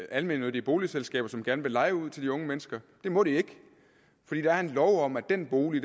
er almennyttige boligselskaber som gerne vil leje ud til de unge mennesker det må de ikke fordi der er en lov om at den bolig